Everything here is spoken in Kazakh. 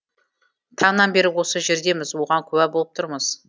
таңнан бері осы жердеміз оған куә болып тұрмыз